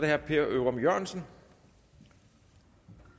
herre per ørum jørgensen